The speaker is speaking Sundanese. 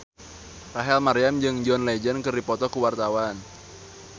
Rachel Maryam jeung John Legend keur dipoto ku wartawan